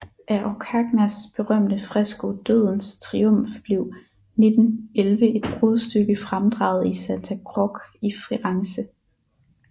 Af Orcagnas berømte fresko Dødens Triumf blev 1911 et brudstykke fremdraget i Santa Croce i Firenze